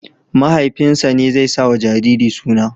Mahaifinsa ne zai sawa jariri suna.